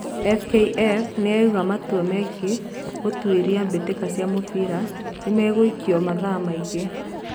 FKF nĩ yaiga matũa megie gutĩria mbĩtĩka cia mũbĩra nĩmegũĩko mathaa mangĩ.